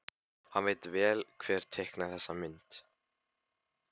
Hann veit vel hver teiknaði þessa mynd.